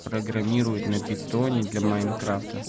программирует на питоне для майн крафта